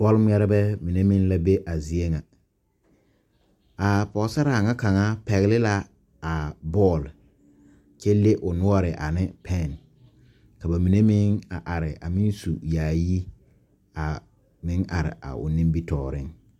Bɔlgmɛrrbɛ mine meŋ la be a zie ŋa aa pɔɔsaraa nyɛ kaŋa pɛgle la aa bɔɔl kyɛ le o noɔre ane pɛn ka ba mine meŋ a are a meŋ su yaayi a meŋ are a o nimitooreŋ.